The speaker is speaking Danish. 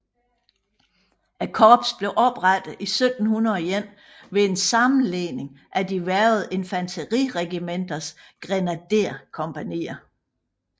Korpset blev oprettet 1701 ved en sammenlægning af de hvervede infateriregimenters grenaderkompagnier